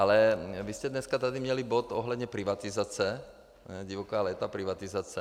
Ale vy jste dneska tady měli bod ohledně privatizace - divoká léta privatizace.